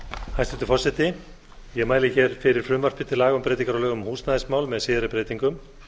hæstvirtur forseti ég mæli hér fyrir frumvarpi til laga um breytingar á lögum um húsnæðismál með síðari breytingum